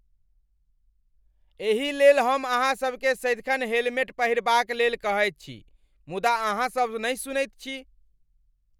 एही लेल हम अहाँसभकेँ सदिखन हेलमेट पहिरबाक लेल कहैत छी, मुदा अहाँसभ नहि सुनैत छी।